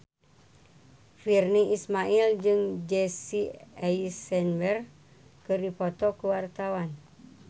Virnie Ismail jeung Jesse Eisenberg keur dipoto ku wartawan